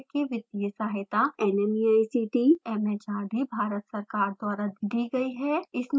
spoken tutorial project की वित्तीय सहायता nmeict mhrd भारत सरकार द्वारा दी गयी है